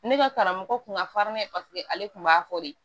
Ne ka karamɔgɔ kun ka finnan ye paseke ale kun b'a fɔ de